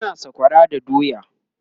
ana sakwara da doya